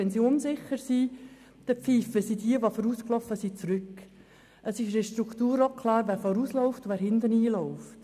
Es ist auch festgelegt, wer vorausgeht und wer hinten marschiert.